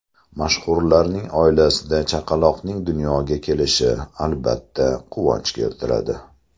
Mashhurlarning oilasida chaqaloqning dunyoga kelishi, albatta, quvonch keltiradi.